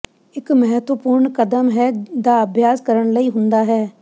ਇੱਕ ਮਹੱਤਵਪੂਰਨ ਕਦਮ ਹੈ ਦਾ ਅਭਿਆਸ ਕਰਨ ਲਈ ਹੁੰਦਾ ਹੈ